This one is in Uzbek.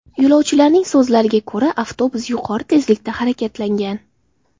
Yo‘lovchilarning so‘zlariga ko‘ra, avtobus yuqori tezlikda harakatlangan.